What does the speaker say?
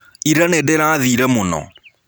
Ĩra nĩndĩrathĩĩre mũno.